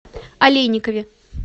олейникове